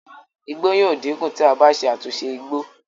igbó yíò dínkù tí a bá ṣe àtúnṣe igbó